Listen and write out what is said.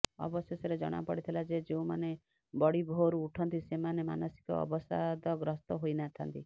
ଅବଶେଷରେ ଜଣାପଡିଥିଲା ଯେ ଯେଉଁମାନେ ବଡିଭୋର୍ରୁ ଉଠନ୍ତି ସେମାନେ ମାନସିକ ଅବସାଦଗ୍ରସ୍ତ ହୋଇନଥାନ୍ତି